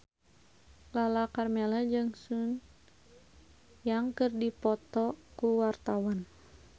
Lala Karmela jeung Sun Yang keur dipoto ku wartawan